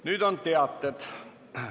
Nüüd on mul teada anda üks teade.